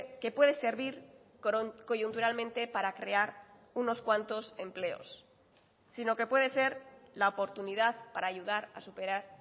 que puede servir coyunturalmente para crear unos cuantos empleos sino que puede ser la oportunidad para ayudar a superar